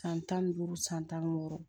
San tan ni duuru san tan ni wɔɔrɔ